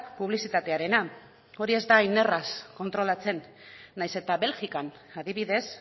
publizitatearena hori ez da hain erraz kontrolatzen nahiz eta belgikan adibidez